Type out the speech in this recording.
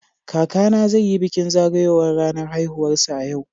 Kakana zai yi bikin zagayowar ranar haihuwarsa a yau.